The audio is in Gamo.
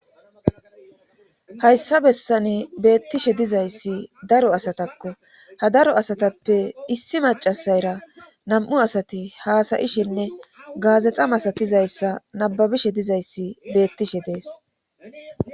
hayssa bessani beettishe dizayssi daro asatakko ha daro asatappe issi macasayra nam7u asati haasayishinne gaazexa masatizayssa nababishe dizayssi beettishe dees